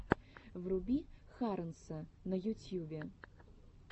вруби харонса на ютьюбе